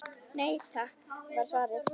Nei takk var svarið.